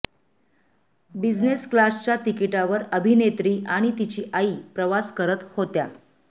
business क्लासच्या तिकीटावर अभिनेत्री आणि तिची आई प्रवास करत होत्या